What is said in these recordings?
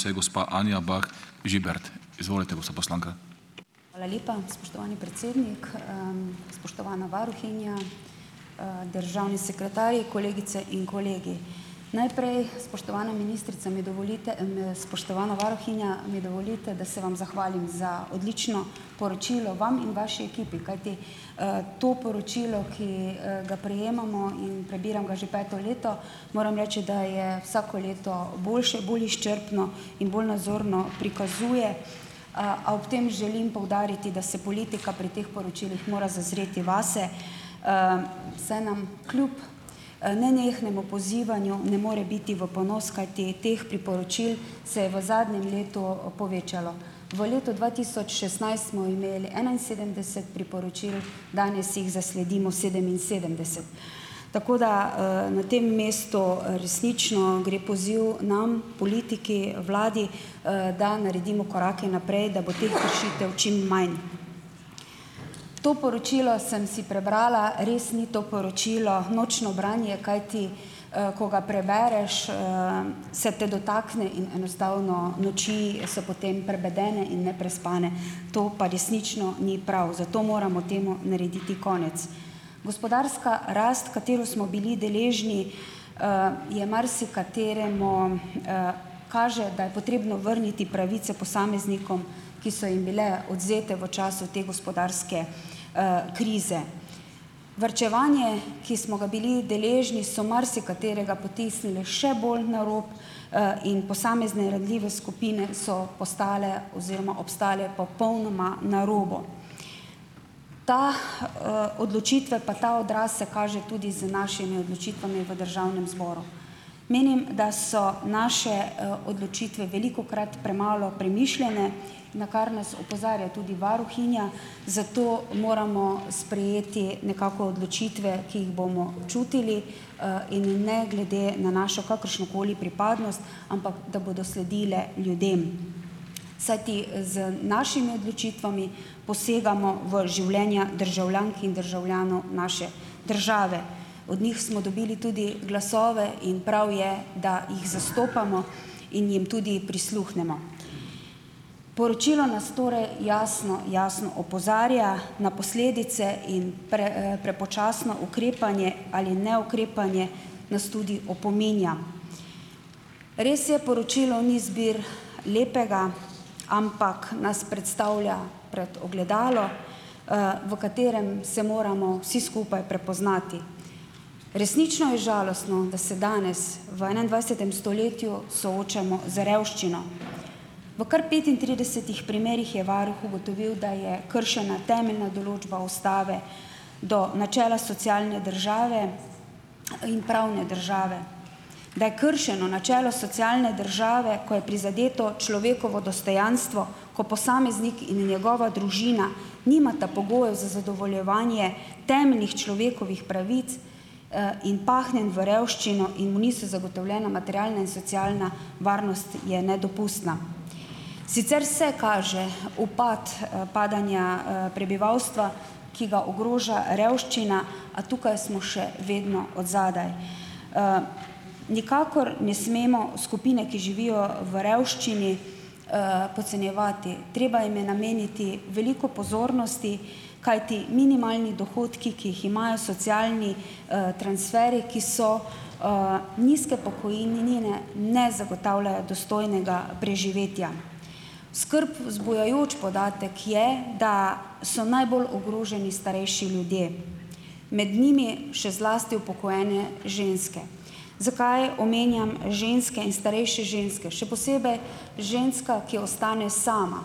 Hvala lepa. Spoštovani predsednik spoštovana varuhinja, državni sekretarji, kolegice in kolegi! Najprej, spoštovana ministrica, mi dovolite, spoštovana varuhinja, mi dovolite, da se vam zahvalim za odlično poročilo, vam in vaši ekipi, kajti to poročilo, ki ga prejemamo - in prebiram ga že peto leto -, moram reči, da je vsako leto boljše, bolj izčrpno in bolj nazorno prikazuje. A ob tem želim poudariti, da se politika pri teh poročilih mora zazreti vase, saj nam kljub nenehnemu pozivanju ne more biti v ponos, kajti teh priporočil se je v zadnjem letu povečalo. V letu dva tisoč šestnajst smo imeli enainsedemdeset priporočil, danes jih zasledimo sedeminsedemdeset. Tako da na tem mestu resnično gre poziv nam, politiki, vladi, da naredimo korake naprej, da bo teh kršitev čim manj. To poročilo sem si prebrala, res ni to poročilo nočno branje, kajti ko ga prebereš se te dotakne in enostavno noči so potem prebedene in neprespane, to pa resnično ni prav, zato moramo temu narediti konec. Gospodarska rast, katero smo bili deležni, je marsikateremu kaže, da je potrebno vrniti pravice posameznikom, ki so jim bile odvzete v času te gospodarske krize. Varčevanje, ki smo ga bili deležni, so marsikaterega potisnili še bolj na rob in posamezne ranljive skupine so postale oziroma obstale popolnoma na robu. Ta odločitve pa ta odraz se kaže tudi z našimi odločitvami v Državnem zboru. Menim, da so naše odločitve velikokrat premalo premišljene, na kar nas opozarja tudi varuhinja, zato moramo sprejeti nekako odločitve, ki jih bomo čutili, in ne glede na našo kakršnokoli pripadnost, ampak da bodo sledile ljudem. Saj ti z našimi odločitvami posegamo v življenja državljank in državljanov naše države. Od njih smo dobili tudi glasove in prav je, da jih zastopamo in jim tudi prisluhnemo. Poročilo nas torej jasno, jasno opozarja na posledice, in prepočasno ukrepanje ali neukrepanje nas tudi opominja. Res je, poročilo ni zbir lepega, ampak nas predstavlja pred ogledalo, v katerem se moramo vsi skupaj prepoznati. Resnično in žalostno, da se danes v enaindvajsetem stoletju soočamo z revščino. V kar petintridesetih primerih je varuh ugotovil, da je kršena temeljna določba Ustave do načela socialne države in pravne države. Da je kršeno načelo socialne države, ko je prizadeto človekovo dostojanstvo, ko posameznik in njegova družina nimata pogojev za zadovoljevanje temeljnih človekovih pravic in pahnjen v revščino in mu niso zagotovljena materialna in socialna varnost, je nedopustna. Sicer se kaže upad padanja prebivalstva, ki ga ogroža revščina, a tukaj smo še vedno od zadaj. Nikakor ne smemo skupine, ki živijo v revščini, podcenjevati, treba jim je nameniti veliko pozornosti, kajti minimalni dohodki, ki jih imajo, socialni transferji, ki so nizke pokojnine, ne zagotavljajo dostojnega preživetja. Skrb vzbujajoč podatek je, da so najbolj ogroženi starejši ljudje, med njimi še zlasti upokojene ženske. Zakaj omenjam ženske in starejše ženske, še posebej ženska, ki ostane sama?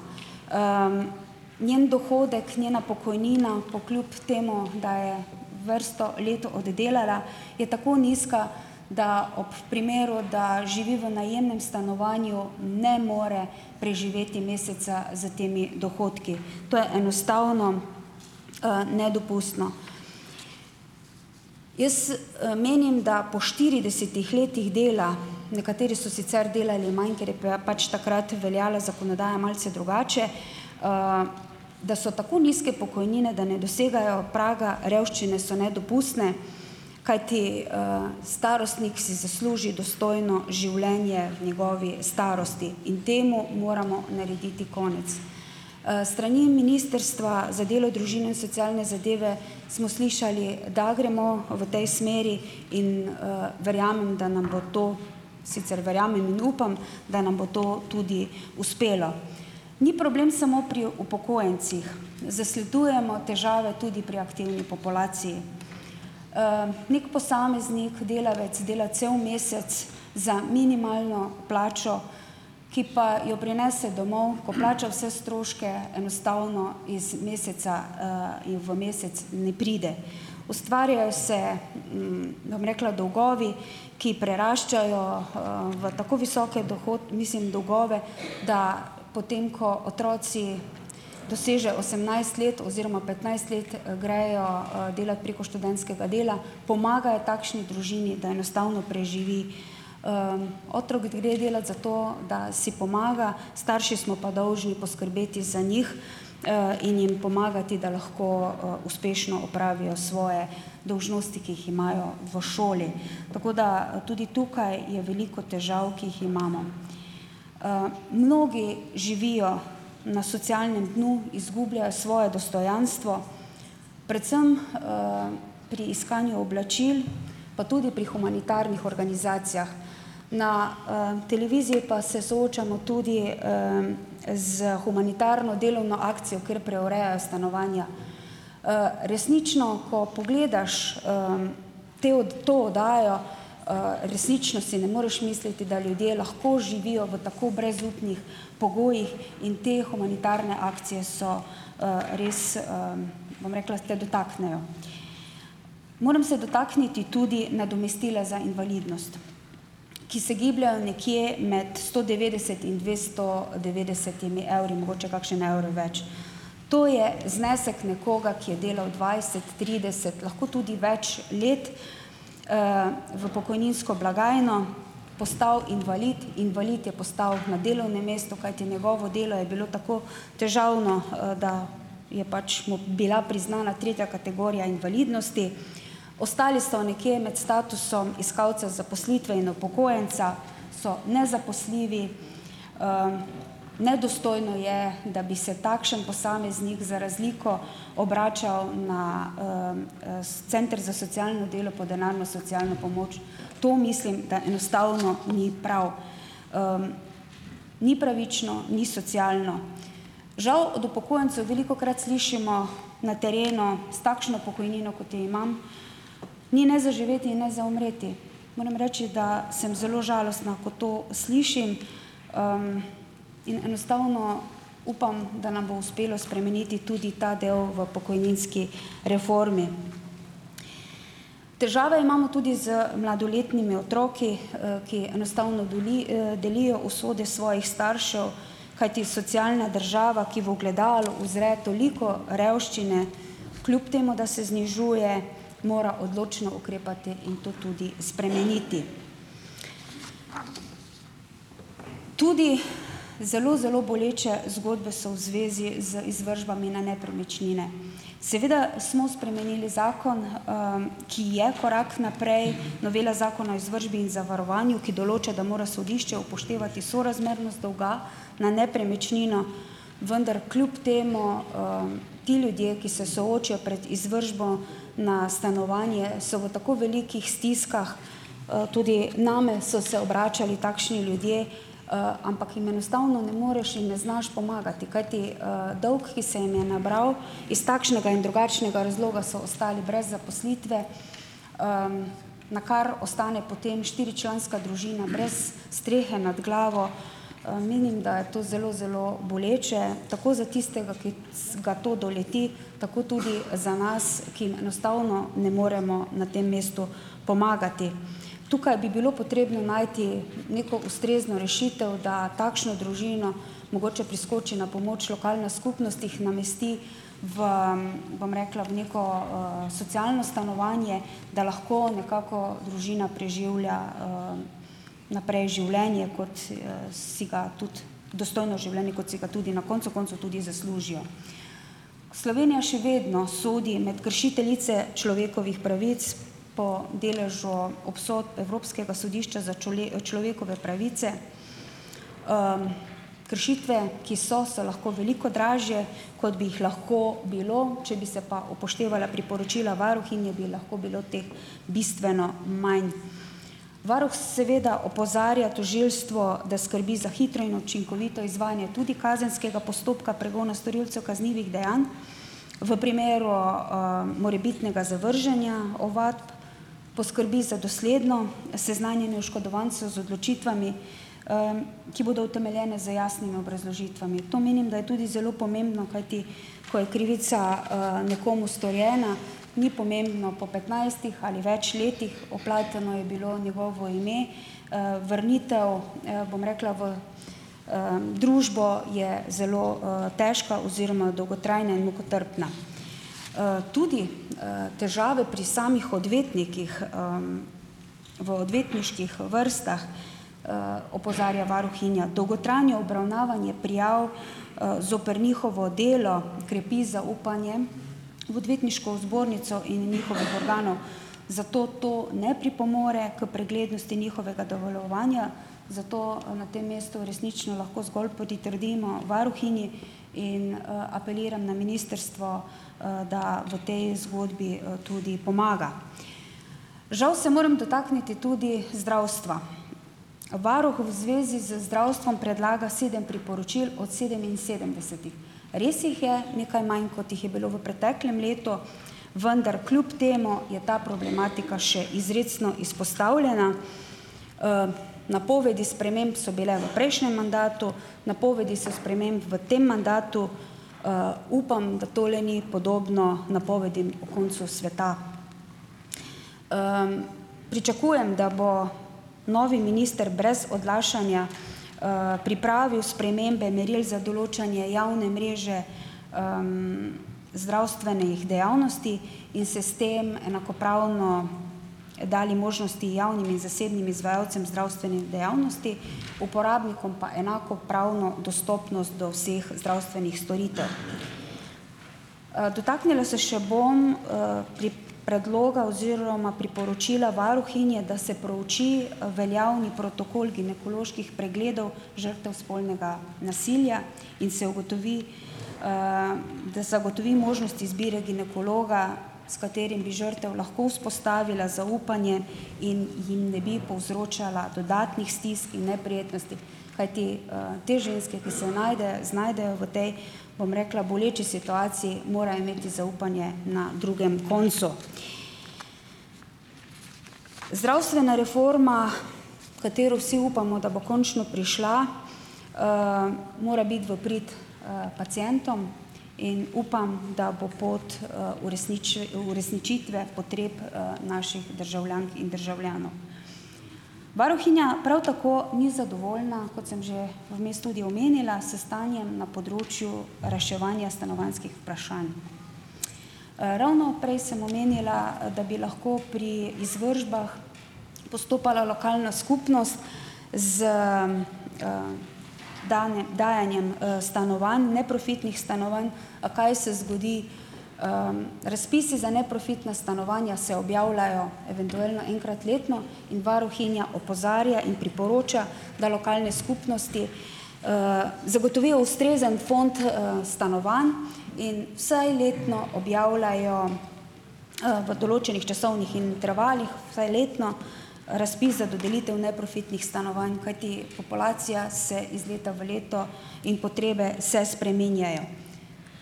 Njen dohodek, njena pokojnina po kljub temu, da je vrsto let oddelala, je tako nizka, da ob primeru, da živi v najemnem stanovanju, ne more preživeti meseca s temi dohodki. To je enostavno nedopustno. Jaz menim, da po štiridesetih letih dela, nekateri so sicer delali manj, ker je bila pač takrat veljala zakonodaja malce drugače, da so tako nizke pokojnine, da ne dosegajo praga revščine, so nedopustne. Kajti starostnik si zasluži dostojno življenje v njegovi starosti in temu moramo narediti konec. S strani Ministrstva za delo, družino in socialne zadeve smo slišali, da gremo v tej smeri, in verjamem, da nam bo to, sicer verjamem in upam, da nam bo to tudi uspelo. Ni problem samo pri upokojencih, zasledujemo težave tudi pri aktivni populaciji. Nek posameznik, delavec dela cel mesec za minimalno plačo, ki pa jo prinese domov, ko plača vse stroške, enostavno iz meseca in v mesec ne pride. Ustvarjajo se, ne bom rekla, dolgovi, ki preraščajo v tako visoke mislim, dolgove, da potem ko otroci dosežejo osemnajst let oziroma petnajst let, grejo delat preko študentskega dela, pomagajo takšni družini, da enostavno preživi. Otrok gre delat zato, da si pomaga, starši smo pa dolžni poskrbeti za njih in jim pomagati, da lahko uspešno opravijo svoje dolžnosti, ki jih imajo v šoli. Tako da tudi tukaj je veliko težav, ki jih imamo. Mnogi živijo na socialnem dnu, izgubljajo svoje dostojanstvo predvsem pri iskanju oblačil pa tudi pri humanitarnih organizacijah. Na televiziji pa se soočamo tudi s humanitarno delovno akcijo, kjer preverjajo stanovanja. Resnično, ko pogledaš te to oddajo, resnično si ne moreš misliti, da ljudje lahko živijo v tako brezupnih pogojih in te humanitarne akcije so res bom rekla, se te dotaknejo. Moram se dotakniti tudi nadomestila za invalidnost. Ki se gibljejo nekje med sto devetdeset in dvesto devetdesetimi evri, mogoče kakšen evro več. To je znesek nekoga, ki je delal dvajset, trideset, lahko tudi več let, v pokojninsko blagajno, postal invalid - invalid je postal na delovnem mestu, kajti njegovo delo je bilo tako težavno, da je pač mu bila priznana tretja kategorija invalidnosti. Ostali so nekje imeti statusom iskalcev zaposlitve in upokojenca, so nezaposljivi, nedostojno je, da bi se takšen posameznik za razliko obračal na s center za socialno delo po denarno socialno pomoč. To, mislim, da enostavno ni prav. Ni pravično, ni socialno. Žal od upokojencev velikokrat slišimo na terenu: "S takšno pokojnino, kot jo imam, ni ne za živeti in ne za umreti." Moram reči, da sem zelo žalostna, ko to slišim. In enostavno upam, da nam bo uspelo spremeniti tudi ta del v pokojninski reformi. Težave imamo tudi z mladoletnimi otroki, ki enostavno delijo usode svojih staršev, kajti socialna država, ki v ogledalu uzre toliko revščine kljub temu, da se znižuje, mora odločno ukrepati in to tudi spremeniti. Tudi zelo, zelo boleče zgodbe so v zvezi z izvršbami na nepremičnine. Seveda smo spremenili zakon, ki je korak naprej. Novela Zakona o izvršbi in zavarovanju, ki določa, da mora sodišče upoštevati sorazmernost dolga na nepremičnino - vendar kljub temu ti ljudje, ki se soočijo pred izvršbo na stanovanje, so v tako velikih stiskah, tudi name so se obračali takšni ljudje, ampak jim enostavno ne moreš in ne znaš pomagati. Kajti dolg, ki se jim je nabral - iz takšnega in drugačnega razloga so ostali brez zaposlitve, na kar ostane potem štiričlanska družina brez strehe nad glavo, menim, da je to zelo, zelo boleče, tako za tistega, ki ga to doleti, tako tudi za nas, ki jim enostavno ne moremo na tem mestu pomagati. Tukaj bi bilo potrebno najti neko ustrezno rešitev, da takšno družino - mogoče priskoči na pomoč lokalna skupnost, jih namesti v bom rekla, neko socialno stanovanje, da lahko nekako družina preživlja naprej življenje, kot si ga tudi - dostojno življenje, kot si ga tudi na koncu koncev tudi zaslužijo. Slovenija še vedno sodi med kršiteljice človekovih pravic po deležu obsodb Evropskega sodišča za človekove pravice. Kršitve, ki so, so lahko veliko dražje, kot bi jih lahko bilo. Če bi se pa upoštevala priporočila varuhinje, bi lahko bilo teh bistveno manj. Varuh seveda opozarja tožilstvo, da skrbi za hitro in učinkovito izvajanje tudi kazenskega postopka pregona storilcev kaznivih dejanj. V primeru morebitnega zavrženja ovadb poskrbi za dosledno seznanjenje oškodovancev z odločitvami, ki bodo utemeljene z jasnimi obrazložitvami. To, menim, da je tudi zelo pomembno, kajti ko je krivica nekomu storjena, ni pomembno, po petnajstih ali več letih - vpleteno je bilo njegovo ime. Vrnitev, bom rekla, v družbo je zelo težka oziroma dolgotrajna in mukotrpna. Tudi težave pri samih odvetnikih, v odvetniških vrstah, opozarja varuhinja, dolgotrajno obravnavanje prijav zoper njihovo delo, krepi zaupanje v Odvetniško zbornico in njihovih organov, zato to ne pripomore k preglednosti njihovega delovanja, zato na tem mestu resnično lahko zgolj pritrdimo varuhinji in apeliram na ministrstvo, da v tej zgodbi tudi pomaga. Žal se moram dotakniti tudi zdravstva. Varuh v zvezi z zdravstvom predlaga sedem priporočil od sedeminsedemdesetih. Res jih je nekaj manj, kot jih je bilo v preteklem letu, vendar kljub temu je ta problematika še izrecno izpostavljena. Napovedi sprememb so bile v prejšnjem mandatu. Napovedi so sprememb v tem mandatu. Upam, da tole ni podobno napovedim o koncu sveta. Pričakujem, da bo novi minister brez odlašanja pripravil spremembe meril za določanje javne mreže zdravstvenih dejavnosti in se s tem enakopravno dali možnosti javnim in zasebnim izvajalcev zdravstvenih dejavnosti, uporabnikom pa enakopravno dostopnost do vseh zdravstvenih storitev. Dotaknila se še bom predloga oziroma priporočila varuhinje, da se prouči veljavni protokol ginekoloških pregledov žrtev spolnega nasilja in se ugotovi, da se zagotovi možnost izbire ginekologa, s katerim bi žrtev lahko vzpostavila zaupanje, in jim ne bi povzročala dodatnih stisk in neprijetnosti, kajti te ženske, ki se najdejo, znajdejo v tej, bom rekla, boleči situaciji, morajo imeti zaupanje na drugem koncu. Zdravstvena reforma, katero vsi upamo, da bo končno prišla, mora biti v prid pacientom in upam, da bo pot uresničitve potreb naših državljank in državljanov. Varuhinja prav tako ni zadovoljna, kot sem že vmes tudi omenila, s stanjem na področju reševanja stanovanjskih vprašanj. Ravno prej sem omenila, da bi lahko pri izvršbah postopala lokalna skupnost z danem dajanjem stanovanj, neprofitnih stanovanj. A kaj se zgodi? Razpisi za neprofitna stanovanja se objavljajo eventuelno enkrat letno in varuhinja opozarja in priporoča, da lokalne skupnosti zagotovijo ustrezen fond stanovanj in vsaj letno objavljajo v določenih časovnih intervalih, vsaj letno, razpis za dodelitev neprofitnih stanovanj, kajti populacija se iz leta v leto, in potrebe se spreminjajo.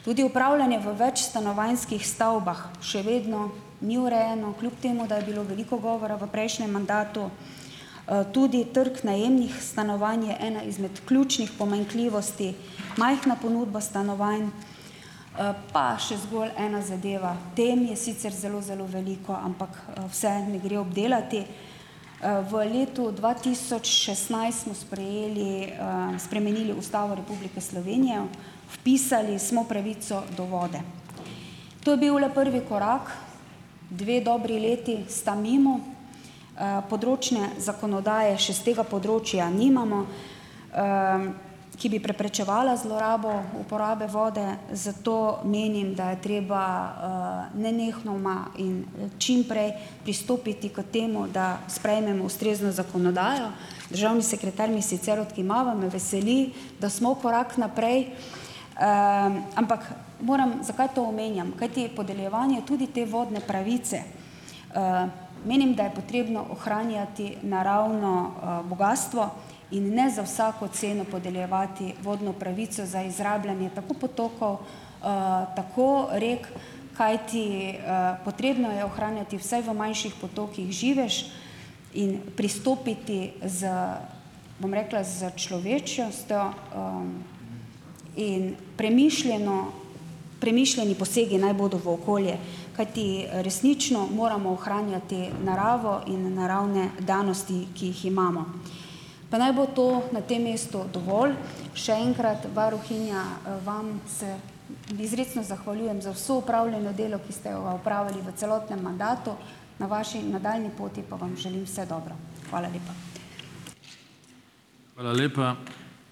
Tudi upravljanje v večstanovanjskih stavbah še vedno ni urejeno, kljub temu da je bilo veliko govora v prejšnjem mandatu. Tudi trg najemnih stanovanj je ena izmed ključnih pomanjkljivosti, majhna ponudba stanovanj. Pa še zgolj ena zadeva. Tem je sicer zelo, zelo veliko, ampak vseh ne gre obdelati. V letu dva tisoč šestnajst smo sprejeli, spremenili Ustavo Republike Slovenije. Vpisali smo pravico do vode. To je bil le prvi korak, dve dobri leti sta mimo. Področne zakonodaje še s tega področja nimamo, ki bi preprečevala zlorabo uporabe vode, zato menim, da je treba nenehnoma in čim prej pristopiti k temu, da sprejmemo ustrezno zakonodajo. Državni sekretar mi sicer odkimava, me veseli, da smo korak naprej. Ampak moram, zakaj to omenjam? Kajti podeljevanje tudi te vodne pravice, menim, da je potrebno ohranjati naravno bogastvo in ne za vsako ceno podeljevati vodno pravico za izrabljanje tako potokov, tako rek, kajti potrebno je ohranjati vse v manjših potokih, živež in pristopiti z, bom rekla, s človečnostjo, in premišljeno, premišljeni posegi naj bodo v okolje. Kajti resnično moramo ohranjati naravo in naravne danosti, ki jih imamo. Pa naj bo to na tem mestu dovolj. Še enkrat, varuhinja, vam se izrecno zahvaljujem za vse opravljeno delo, ki ste ga opravili v celotnem mandatu, na vaši nadaljnji poti pa vam želim vse dobro. Hvala lepa.